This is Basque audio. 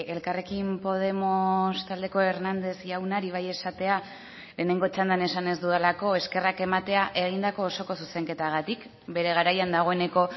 elkarrekin podemos taldeko hernández jaunari bai esatea lehenengo txandan esan ez dudalako eskerrak ematea egindako osoko zuzenketagatik bere garaian dagoeneko